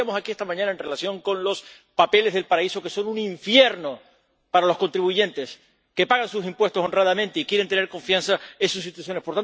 Lo discutíamos aquí esta mañana en relación con los papeles del paraíso, que son un infierno para los contribuyentes que pagan sus impuestos honradamente y quieren tener confianza en sus instituciones.